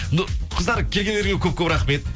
ну қыздар келгендеріне көп көп рахмет